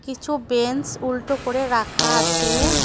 কিছু বেঞ্চ উল্টো করে রাখা আছে।